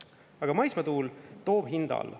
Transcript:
Aga maismaatuul toob hinda alla.